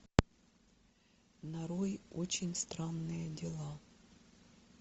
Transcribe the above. нарой очень странные дела